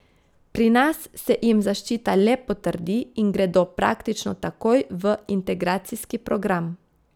Pri nas se jim zaščita le potrdi in gredo praktično takoj v integracijski program.